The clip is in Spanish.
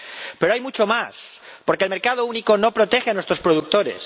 Pero, hay mucho más, porque el mercado único no protege a nuestros productores.